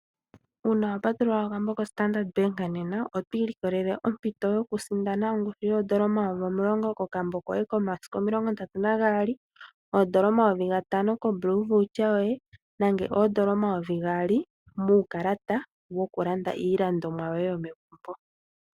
Uuna wapatulula okambo koStandard nena nena otwiilikolelle ompito yokusindana oondola omayovi omulongo kokambo koye komasiku omilonga ndatu nambali oondola omayovi gatano koBlue voucher yoye nenge oondola omayovi gaali muukalata wokulanda iilandomwa yomegumbo.